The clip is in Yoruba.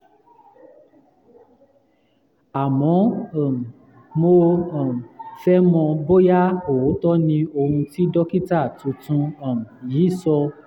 àmọ́ um mo um fẹ́ mọ̀ bóyá òótọ́ ni ohun tí dókítà tuntun um yìí sọ